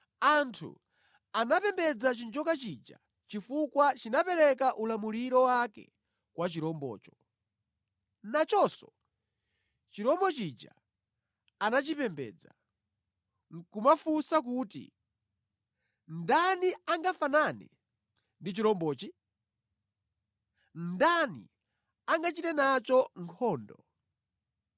Anthu anapembedza chinjoka chija chifukwa chinapereka ulamuliro wake kwa chirombocho. Nachonso chirombo chija anachipembedza nʼkumafunsa kuti, “Ndani angafanane ndi chirombochi? Ndani angachite nacho nkhondo?”